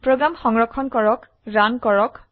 program সংৰক্ষণ কৰে run কৰক